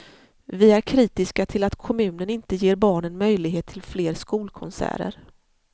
Vi är kritiska till att kommunen inte ger barnen möjlighet till fler skolkonserter.